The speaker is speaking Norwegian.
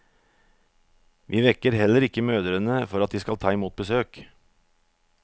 Vi vekker heller ikke mødrene for at de skal ta imot besøk.